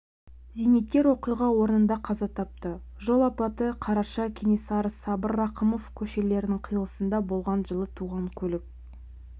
зейнеткер оқиға орнында қаза тапты жол апаты қараша кенесары-сабыр рақымов көшелерінің қиылысында болған жылы туған көлік